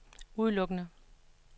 udelukkende